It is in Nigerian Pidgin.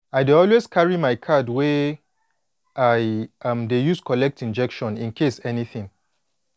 i dey always carry my card wey i um dey use collect injection incase anything